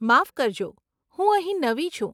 માફ કરજો, હું અહીં નવી છું.